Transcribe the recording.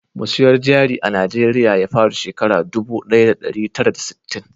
Musayar jari a najeriya ya fara shekara dubu daya da dari tara da sittin